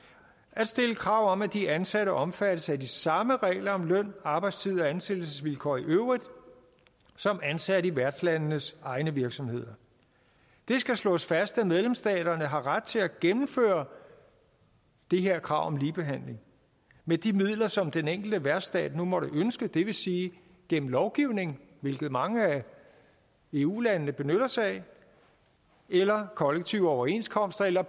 at stille krav om at de ansatte omfattes af de samme regler om løn arbejdstid og ansættelsesvilkår i øvrigt som ansatte i værtslandenes egne virksomheder det skal slås fast at medlemsstaterne har ret til at gennemføre det her krav om ligebehandling med de midler som den enkelte værtsstat nu måtte ønske at bruge det vil sige gennem lovgivning hvilket mange af eu landene benytter sig af eller kollektive overenskomster eller